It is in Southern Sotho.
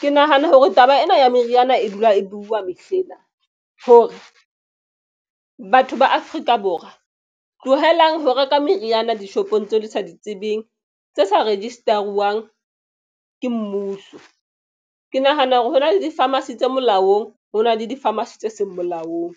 Ke nahana hore taba ena ya meriana e dula e bua mehle ena hore batho ba Afrika Borwa tlohelang ho reka meriana dishopong tseo le sa di tsebeng tse sa register-uwang ke mmuso. Ke nahana hore hona le di-phamarcy tse se molaong ho na le di-phamarcy tse seng molaong.